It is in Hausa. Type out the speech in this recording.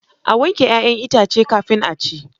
A wanke 'ya'yan itace kafin a ci.